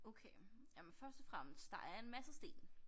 Okay jamen først og fremmest der er en masse sten